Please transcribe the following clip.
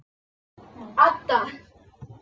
Adda